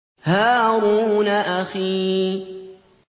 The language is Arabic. هَارُونَ أَخِي